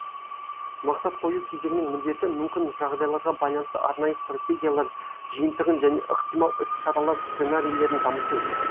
мақсат қою кезеңінің міндеті мүмкін жағдайларға байланысты арнайы стратегиялар жиынтығын және ықтимал іс шаралар сценарийлерін дамыту